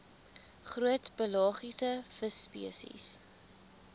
groot pelagiese visspesies